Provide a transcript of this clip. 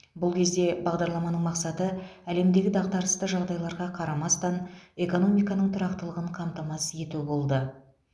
бұл кезде бағдарламаның мақсаты әлемдегі дағдарысты жағдайларға қарамастан экономиканың тұрақтылығын қамтамасыз ету болды